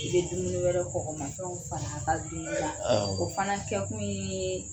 I bɛ dumuni wɛrɛ kɔgɔmafɛnw fana a ka dumun o fana kɛ kun ye